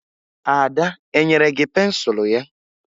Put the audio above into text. Ada e nyere gị pensụlụ ya?